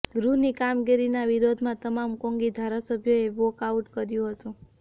ગૃહની કામગીરીના વિરોધમાં તમામ કોંગી ધારાસભ્યોએ વોકઆઉટ કર્યુ હતું